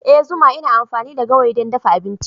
Ee zuma ina amfani da gawayi don dafa abinci.